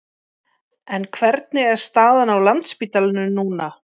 En hvernig er staðan á Landspítalanum núna?